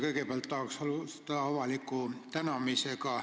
Kõigepealt tahan alustada avaliku tänamisega.